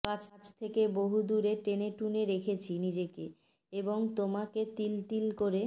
কাছ থেকে বহুদূরে টেনে টুনে রেখেছি নিজেকে এবং তোমাকে তিল তিল করে